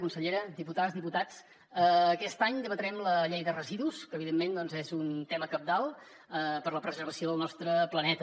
consellera diputades diputats aquest any debatrem la llei de residus que evidentment doncs és un tema cabdal per a la preservació del nostre planeta